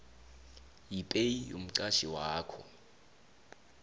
yepaye yomqatjhi wakho